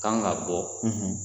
Kan ka bɔ